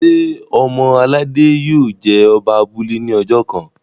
ṣe ọmọ aládé yio jé Oba abúlé ní ojó kán?